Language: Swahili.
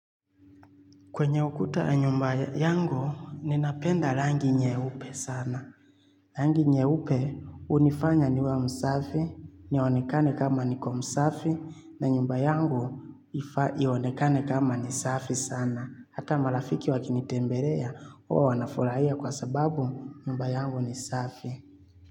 Kwenye ukuta nyumba yangu, ninapenda rangi nyeupe sana. Rangi nyeupe hunifanya niwe msafi, nionekane kama niko msafi, na nyumba yangu ionekane kama nisafi sana. Hata marafiki wakinitembelea, huwa wanafurahia kwa sababu nyumba yangu nisafi.